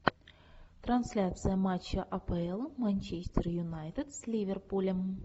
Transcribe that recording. трансляция матча апл манчестер юнайтед с ливерпулем